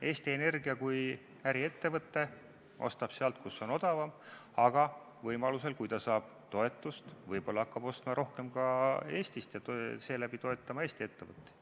Eesti Energia kui äriettevõte ostab sealt, kus on odavam, aga võimaluse korral, kui ta saab toetust, võib-olla hakkab rohkem ostma ka Eestist ja seeläbi toetama Eesti ettevõtteid.